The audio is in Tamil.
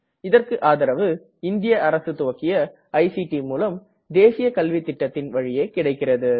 இதற்கு ஆதரவு இந்திய அரசு துவக்கிய ஐசிடி மூலம் தேசிய கல்வித்திட்டத்தின் வழியே கிடைக்கிறது